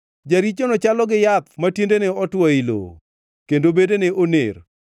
Jarichono chalo gi yath ma tiendene otwo ei lowo, kendo bedene oner.